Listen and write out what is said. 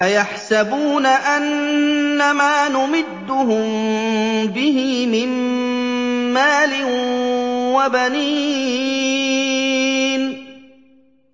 أَيَحْسَبُونَ أَنَّمَا نُمِدُّهُم بِهِ مِن مَّالٍ وَبَنِينَ